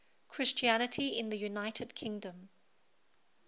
christianity in the united kingdom